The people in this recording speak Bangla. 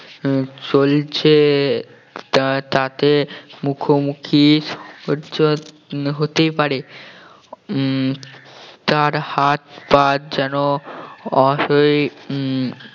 আহ চলছে তা~ তাকে মুখোমুখি হতেই পারে উম তার হাত পা যেন অসাড় উম